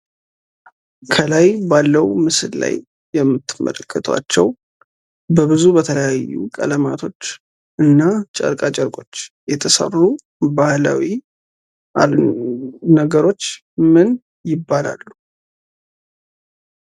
ከላይ ባለው ምስል ላይ የምትመለከቷቸው በብዙ በተለያዩ ቀለማቶች እና ጨርቃጨርቆች የተሰሩ ባህላዊ ነገሮች ምን ይባላሉ?